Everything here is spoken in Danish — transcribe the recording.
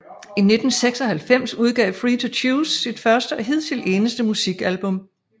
I 1996 udgav Free To Choose sit første og hidtil eneste musikalbum